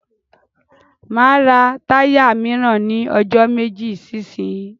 Máa ra táyà míràn ní ọjọ́ méjì sí ìsínyí.